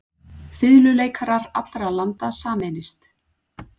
Fiðluleikarar allra landa sameinist.